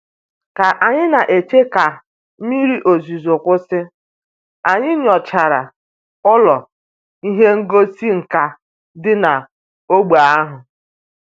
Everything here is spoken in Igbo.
Ka anyị na-eche ka mmiri ozuzo kwụsị, anyị nyochara ụlọ ihe ngosi nka dị n'ógbè ahụ